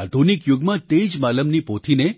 આધુનિક યુગમાં તે જ માલમની પોથીને